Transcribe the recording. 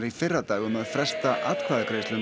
í fyrradag um að fresta atkvæðagreiðslu um